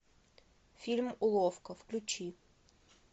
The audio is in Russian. фильм уловка включи